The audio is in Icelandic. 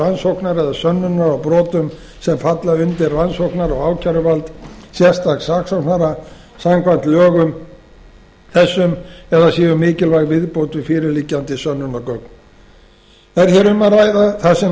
rannsóknar eða sönnunar á brotum sem falla undir rannsóknar og ákæruvald sérstaks saksóknara samkvæmt lögum þessum eða séu mikilvæg viðbót við fyrirliggjandi sönnunargögn er hér um að ræða það sem nefnt